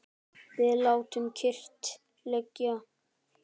Við látum kyrrt liggja